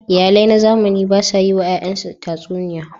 Iyalai na zamani ba sa yiwa yayansu tatsuniya.